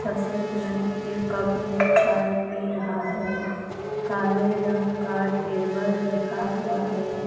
सफेद रंग के कप में चाय पी रहा है काले रंग का टेबल रखा हुआ है।